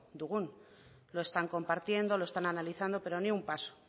dugun lo están compartiendo lo están analizando pero ni un paso